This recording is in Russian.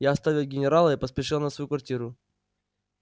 я оставил генерала и поспешил на свою квартиру